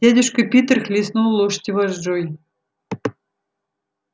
дядюшка питер хлестнул лошадь вожжой